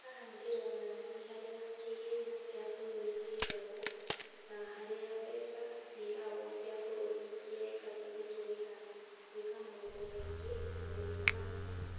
Haha ndĩrona nĩ harĩa kĩgĩna kĩa bũrũri kĩigagwo, na harĩa mbeca cia bũrũri ibatiĩ nĩ gũtũmĩka gwĩka maũndũ maingĩ, na gwĩka